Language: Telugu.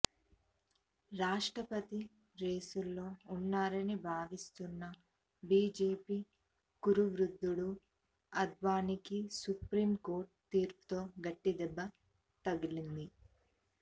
రాష్ట్రపతి రేసులో ఉన్నారని భావిస్తున్న బీజేపీ కురువృద్ధుడు అద్వానీకి సుప్రీం కోర్టు తీర్పుతో గట్టి దెబ్బ తగిలింది